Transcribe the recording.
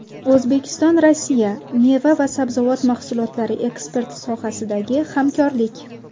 O‘zbekistonRossiya: Meva va sabzavot mahsulotlari eksporti sohasidagi hamkorlik.